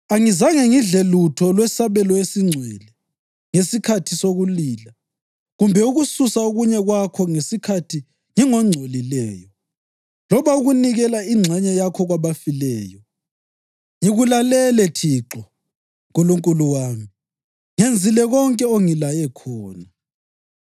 Angizange ngidle lutho lwesabelo esingcwele ngesikhathi sokulila, kumbe ukususa okunye kwakho ngesikhathi ngingongcolileyo, loba ukunikela ingxenye yakho kwabafileyo. Ngikulalele Thixo Nkulunkulu wami; ngenzile konke ongilaye khona.